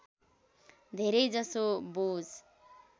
धेरै जसो बोझ